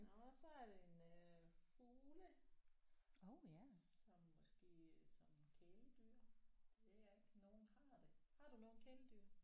Nåh så er det en øh fugle som måske som kæledyr ved jeg ikke nogen har det. Har du nogle kæledyr?